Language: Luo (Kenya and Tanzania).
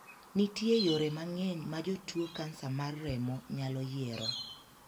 Nitie yore mang'eny ma jotuo kansa mar remo nyalo yiero.